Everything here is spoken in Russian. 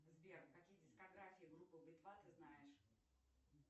сбер какие дискографии группы би два ты знаешь